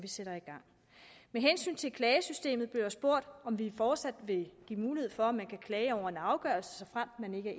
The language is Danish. sætter i gang med hensyn til klagesystemet blev der spurgt om vi fortsat vil give mulighed for at man kan klage over en afgørelse såfremt man ikke